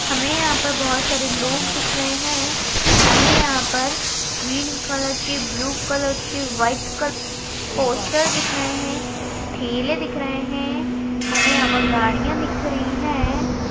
हमे हां पर बहुत लोग दिख रहे है हमे यहां पर ग्रीन कलर के ब्लू कलर के व्हाइट क पोस्टर दिख रहे है ठेले दिख रहे है हमे यहां पर गड़ियां दिख रही है.